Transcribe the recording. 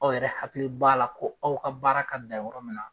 Aw yɛrɛ hakili b'a la ko aw ka baara ka bila yɔrɔ min na.